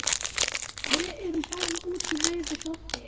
Við erum farin út í laug við Doddi.